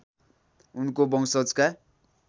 उनको वंशजका